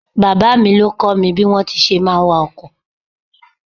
Bàbá mi ló kọ́ mi bí wọn ti ń ṣe ń wa ọkọ̀.